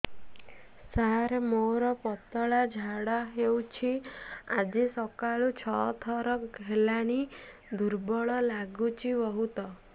ସାର ମୋର ପତଳା ଝାଡା ହେଉଛି ଆଜି ସକାଳୁ ଛଅ ଥର ହେଲାଣି ଦୁର୍ବଳ ଲାଗୁଚି ବହୁତ